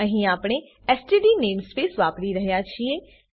અહીં આપણે std namespace વાપરી રહ્યા છીએ